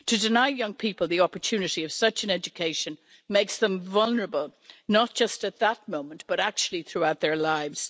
To deny young people the opportunity of such an education makes them vulnerable, not just at that moment, but actually throughout their lives.